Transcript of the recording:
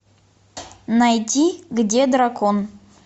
найди где дракон